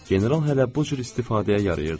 general hələ bu cür istifadəyə yarıyırdı.